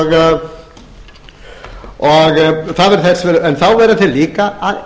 við sitt nærumhverfi en þá verða þeir líka að